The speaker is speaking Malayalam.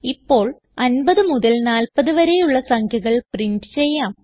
ഇപ്പോൾ 50 മുതൽ 40 വരെയുള്ള സംഖ്യകൾ പ്രിന്റ് ചെയ്യാം